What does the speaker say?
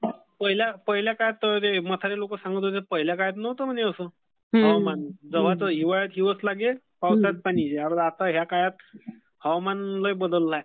पहिल्या काळात म्हातारे लोक सांगत होते पहिल्या काळात नव्हतं म्हणे असं. हवामान. हिवाळ्यात हिवच लागे, पावसाळ्यात पाणी येई. आता ह्या काळात हवामान लै बदललं आहे.